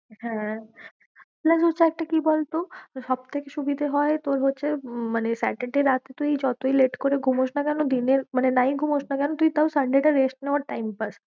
হ্যাঁ কি বলতো, সব থেকে সুবিধে হয় তোর হচ্ছে উম মানে saturday রাতে তুই যতই late করে মুখস না কেন, দিনের মানে নাই খুমস না কেন, তুই তাও sunday টা rest নেওয়ার time পাস্।